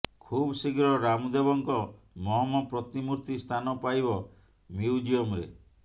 ଖୁବ୍ ଶୀଘ୍ର ରାମଦେବଙ୍କ ମହମ ପ୍ରତିମୂର୍ତ୍ତି ସ୍ଥାନ ପାଇବ ମିଉଜିୟମରେ